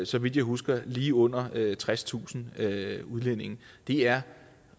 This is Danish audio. så vidt jeg husker lige under tredstusind udlændinge det er